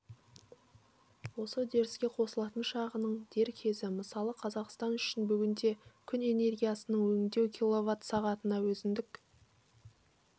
осы үдеріске қосылатын шағының дер кезі мысалы қазақстан үшін бүгінде күн энергиясын өңдеу килловат-сағатына өзіндік